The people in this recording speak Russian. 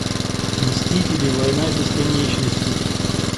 мстители война бесконечности